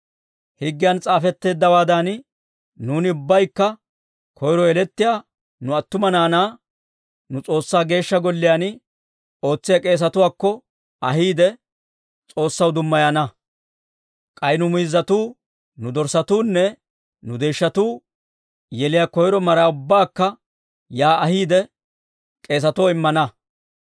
«Higgiyan s'aafetteeddawaadan nuuni ubbaykka koyro yelettiyaa nu attuma naanaa nu S'oossaa Geeshsha Golliyaan ootsiyaa k'eesetuwaakko ahiide, S'oossaw dummayana; k'ay nu miizzatuu, nu dorssatuunne nu deeshshatuu yeliyaa koyro maraa ubbaakka yaa ahiide, k'eesatoo immana.